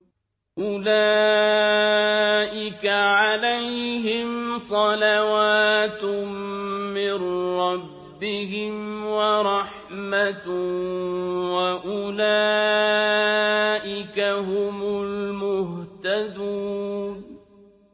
أُولَٰئِكَ عَلَيْهِمْ صَلَوَاتٌ مِّن رَّبِّهِمْ وَرَحْمَةٌ ۖ وَأُولَٰئِكَ هُمُ الْمُهْتَدُونَ